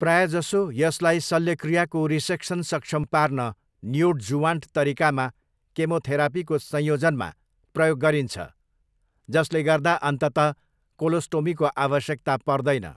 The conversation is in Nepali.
प्रायजसो, यसलाई शल्यक्रियाको रिसेक्सन सक्षम पार्न नियोडजुवान्ट तरिकामा केमोथेरापीको संयोजनमा प्रयोग गरिन्छ, जसले गर्दा अन्ततः कोलोस्टोमीको आवश्यकता पर्दैन।